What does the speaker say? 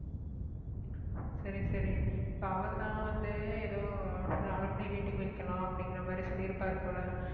சரி சரி இப்ப அவர்தான் வந்து ஏதோ alumni meeting வைக்கலாம் அப்படிங்கற மாதிரி சொல்லியிருப்பார் போல